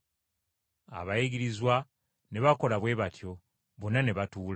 Abayigirizwa ne bakola bwe batyo, bonna ne batuula.